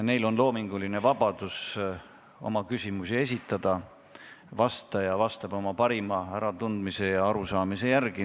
Neil on loominguline vabadus oma küsimusi esitada, vastaja vastab oma parima äratundmise ja arusaamise järgi.